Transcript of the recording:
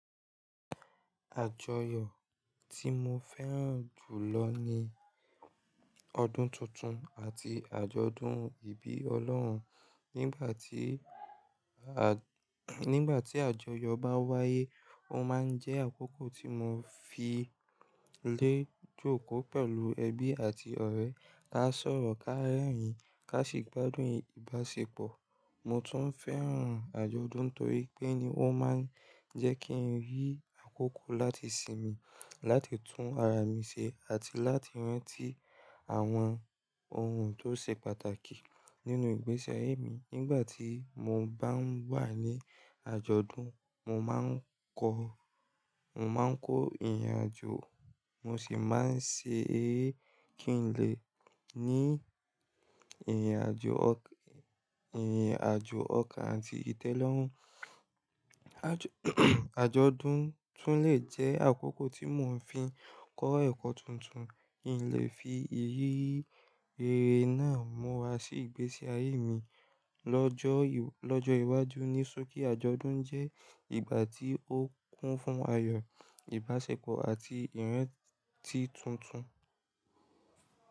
Àjọyọ̀ tí mo fẹ́ràn jùlọ ni ọdún tuntun àti àjọ̀dún ìbí Ọlọ́run. Nígbà tí, à nígbà tí àjọyọ̀ bá wáyé, ó máa ń jẹ́ àkókò tí mo fi lé jòkó pẹ̀lú ẹbí àti ọ̀rẹ́. Ká sọ̀rọ̀, ká rẹ́rìn-ín, ká sì gbádùn ìbáṣepọ̀. Mo tún fẹ́ràn àjọ̀dún torí pé ni ó máa ń jẹ́ kí n rí àkókò láti sinmi, láti tún ara mi ṣe àti láti rántí àwọn ohun tó ṣe pàtàkì nínú ìgbésí ayé mi. Nígbà tí mo bá ń wà ní àjọ̀dún, mo máa ń kọ́, mo máa ń kó ìrìnàjò, mo sì máa ń ṣe ere kí n lè ní ìrìnàjò ọkàn, ìrìnàjò ọkàn àti ìtẹ́lọ́rùn. Àjọ̀dún tún lè jẹ́ àkókò tí mo ń fi kọ́ ẹ̀kọ́ tuntun. Kí n lè fi iriri eré náà múra sí ìgbésí ayé mi lọ́jọ́, lọ́jọ́ iwájú. Ní sókí àjọ̀dún jẹ́ ìgbà tí ó kún fún ayọ̀, ìbáṣepọ̀ àti ìrántí tuntun.